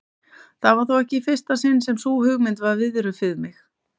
Það var þó ekki í fyrsta sinn sem sú hugmynd var viðruð við mig.